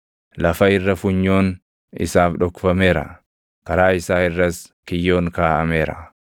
Lafa irra funyoon isaaf dhokfameera; karaa isaa irras kiyyoon kaaʼameera.